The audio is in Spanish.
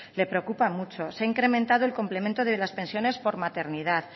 le preocupa mucho se ha incrementado el complemento de las pensiones por maternidad